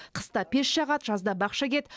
қыста пеш жағады жазда бақша егеді